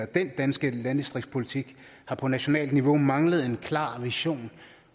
den danske landdistriktspolitik har på nationalt niveau manglet en klar vision